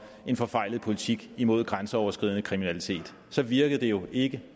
en forfejlet politik imod grænseoverskridende kriminalitet så virkede det jo ikke